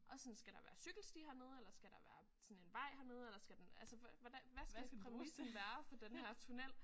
Og sådan skal der være cykelsti hernede eller skal der være sådan en vej hernede eller skal den altså hvad hvordan hvad skal præmissen være for den her tunnel